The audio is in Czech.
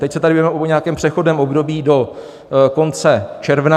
Teď se tady bavíme o nějakém přechodném období do konce června.